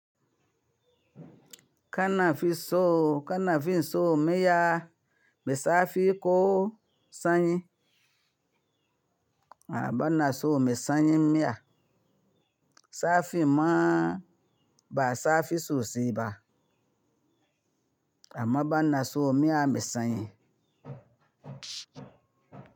Kana fi so, kana fi so miya, mai zafi ko sanyi? A'a bana so mai sanyi miya. Zafi ma ba zafi sosai ba amma bana so miya mai sanyi.